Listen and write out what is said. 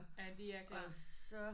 At de er klar